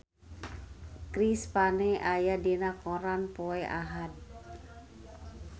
Chris Pane aya dina koran poe Ahad